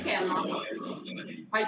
Aitäh teile!